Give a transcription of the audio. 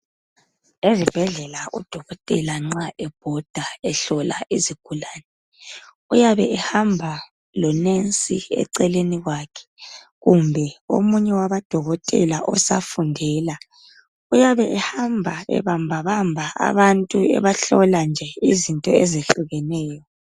Ezibhedlela uDokotela nxa ebhoda ehlola izigulane, uyabe ehamba loNensi eceleni kwakhe kumbe omunye wabo Dokotela osafundela. Uyabe ehamba ebambabamba abantu ebahlola into ezehlukeneyo.